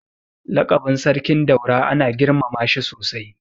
Lakabin Sarkin Daura ana girmama shi sosai.